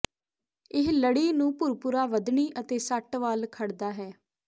ਇਹ ਲੜੀ ਨੂੰ ਭੁਰਭੁਰਾ ਵਧਣੀ ਅਤੇ ਸੱਟ ਵੱਲ ਖੜਦਾ ਹੈ